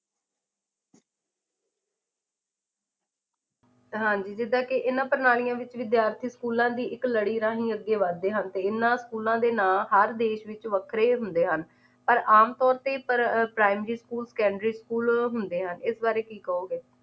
ਹਾਂਜੀ ਜਿਦਾ ਕੇ ਇਹਨਾਂ ਪ੍ਰਣਾਲੀਆਂ ਵਿੱਚ ਵਿਦਿਆਰਥੀ ਸਕੂਲਾਂ ਦੀ ਇੱਕ ਲੜੀ ਰਾਂਹੀ ਅੱਗੇ ਵੱਧਦੇ ਹਨ ਤੇ ਇਹਨਾਂ ਸਕੂਲਾਂ ਦੇ ਨਾ ਹਰ ਦੇਸ਼ ਵਿੱਚ ਵੱਖਰੇ ਹੁੰਦੇ ਹਨ ਪਰ ਆਮ ਤੌਰ ਤੇ ਪਰ primary secondary school school ਹੁੰਦੇ ਹਨ, ਇਸ ਬਾਰੇ ਕੀ ਕਹੋਗੇ